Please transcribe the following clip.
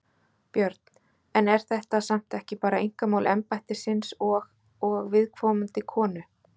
Björn: En er þetta samt ekki bara einkamál embættisins og, og viðkomandi konu?